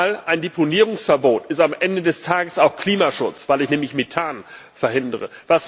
Denn ein Deponierungsverbot ist am Ende des Tages auch Klimaschutz, weil ich nämlich Methan verhindere.